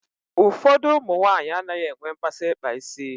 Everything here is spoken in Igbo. Ụfọdụ ụmụ nwaanyị e nweghị mmasị ịkpa isi.